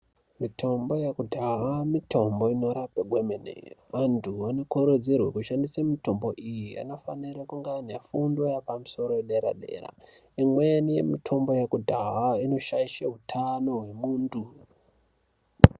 Mitombo yekudhaha mitombo inorape kwemene vantu vanokurudzirwe kushandisa mitombo iyi vanofanira vaine fundo yepamusoro yedera dera imweni mitombo yakudhaha inoshaishe utano hwemuntu.